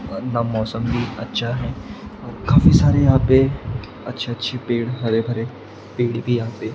वरना मौसम भी अच्छा है और काफी सारे यहां पे अच्छे अच्छे पेड़ हरे भरे पेड़ भी यहां पे--